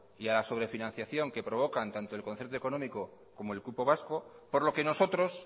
y a la sobrefinanciación que provocan tanto el concierto económico como el cupo vasco por lo que nosotros